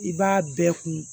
I b'a bɛɛ kun